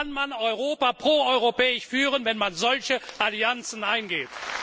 Wie kann man Europa pro europäisch führen, wenn man solche Allianzen eingeht?